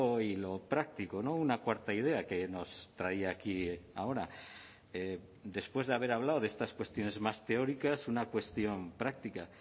y lo práctico una cuarta idea que nos traía aquí ahora después de haber hablado de estas cuestiones más teóricas una cuestión práctica